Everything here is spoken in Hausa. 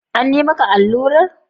An yi maka allurar?